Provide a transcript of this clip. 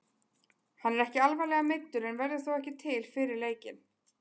Hann er ekki alvarlega meiddur en verður þó ekki til fyrir leikinn.